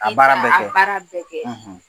A baara bɛ kɛ, i ka a baara bɛ kɛ